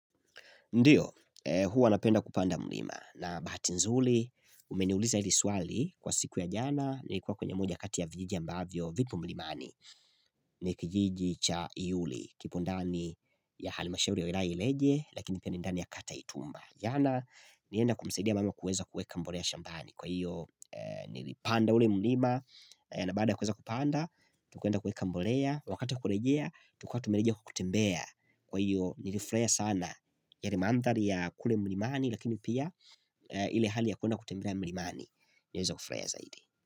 Ndio, huwa napenda kupanda mlima, na bahati nzuri, umeniuliza hili swali kwa siku ya jana, nilikuwa kwenye moja kati ya vijiji ambavyo, vipo mlimani, nikijiji cha iuli, kipondani ya halimashauri ya wilaya ya ileje, lakini pia ni ndani ya kata ya itumba. Jana nilienda kumsaidia mama kueza kuweka mbolea shambani Kwa hiyo nilipanda ule mulima na bada ya kuweza kupanda Tukaenda kuweka mbolea Wakata wakulejea Tukawa tumerejea kwa kutembea Kwa hiyo nilifurahia sana yale mandhari ya kule mlimani Lakini pia ile hali ya kwenda kutembea mlimani Niliweza kufurahia zaidi.